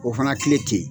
O fana kile te ye